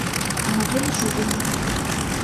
анатолий шубин